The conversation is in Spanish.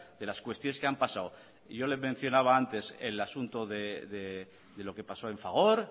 de las cuestiones que han pasado y yo le mencionaba antes el asunto de lo que pasó en fagor